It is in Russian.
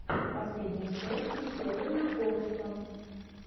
последняя часть веселый накорушка